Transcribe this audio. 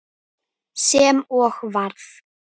Sem og varð.